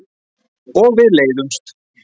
Og við leiðumst.